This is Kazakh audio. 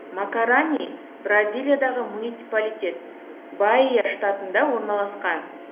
макарани бразилиядағы муниципалитет баия штатында орналасқан